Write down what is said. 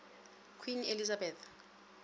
queen elizabeth